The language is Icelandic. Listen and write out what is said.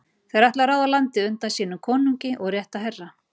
Þeir ætluðu að ráða landið undan sínum konungi og rétta herra.